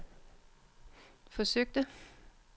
forsøgte